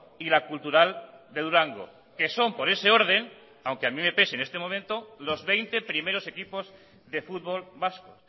y la cultural de durango que son por ese orden aunque a mi me pese en este momento los veinte primeros equipos de fútbol vasco